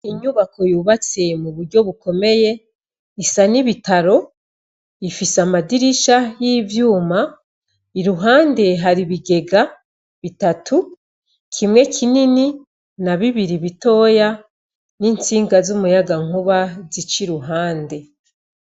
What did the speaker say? Inyubako yubatse mu buryo bukomeye Isa n'ibitaro. Ifise amadirisha y'ivyuma, iruhande hari inigega bitatu kimwe kinini, na bibiri bitoya n'intsinga z'umuyagankuba zica ku ruhande.